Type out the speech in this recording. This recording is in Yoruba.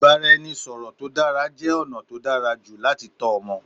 Ìbáraẹnisọ̀rọ̀ tó dára jẹ́ ọ̀nà tó dára jù láti tọ́ ọmọ.